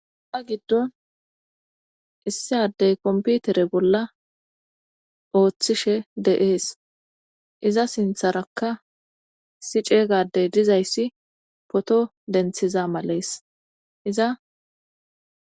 ta giddon issi addey komputere bolla ooththishe de7ees iza sintharakka si ceeygadey dizayssi poto denthiza malees iza